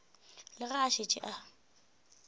le ge a šetše a